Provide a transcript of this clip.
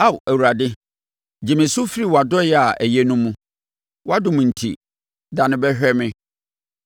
Ao Awurade, gye me so firi wʼadɔeɛ a ɛyɛ no mu; wʼadom enti, dane bɛhwɛ me.